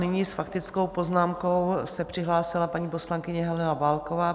Nyní s faktickou poznámkou se přihlásila paní poslankyně Helena Válková.